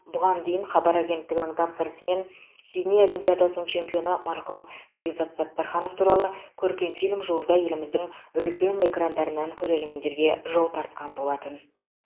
бұған дейін хабар агенттігінің тапсырысымен сидней олимпиадасының чемпионы марқұм бекзат саттарханов туралы көркем фильм жуырда еліміздің үлкен экрандарынан көрерменге жол тартқан болатын